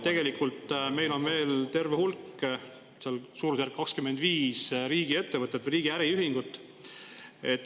Meil on veel terve hulk, suurusjärgus 25 riigiettevõtet või riigi äriühingut.